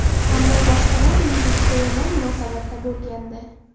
Ammo boshqalar menga juda yomon munosabatda bo‘lgandi.